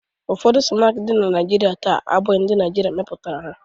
Ụfọdụ snaakị dị na Naịjirịa taa abụghị ndị Naịjirịa mepụtara ha.